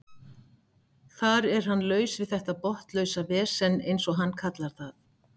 Þar er hann laus við þetta botnlausa vesen eins og hann kallar það.